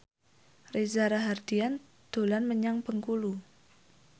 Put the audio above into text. Reza Rahardian dolan menyang Bengkulu